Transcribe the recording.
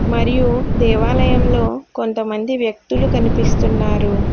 మరియు దేవాలయంలో కొంతమంది వ్యక్తులు కనిపిస్తున్నారు.